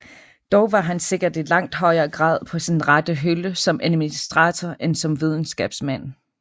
Dog var han sikkert i langt højere grad på sin rette hylde som administrator end som videnskabsmand